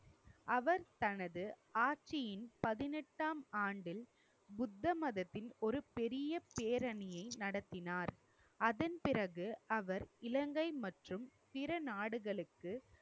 அவர் தனது ஆட்சியின் பதினெட்டாம் ஆண்டில் புத்த மதத்தின் ஒரு பெரிய பேரணியை நடத்தினார். அதன் பிறகு அவர் இலங்கை மற்றும் பிற நாடுகளுக்கு